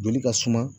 Joli ka suma